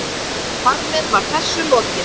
Þar með var þessu lokið.